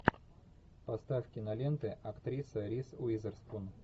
поставь киноленты актрисы риз уизерспун